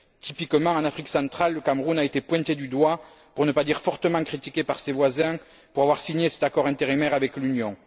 Typiquement, en Afrique centrale, le Cameroun a été pointé du doigt, pour ne pas dire fortement critiqué, par ses voisins, pour avoir signé cet accord intérimaire avec l'Union.